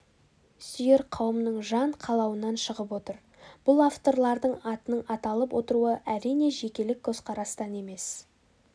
сүйер қауымның жан қалауынан шығып отыр бұл авторлардың атының аталып отыруы әрине жекелік көзқарастан емес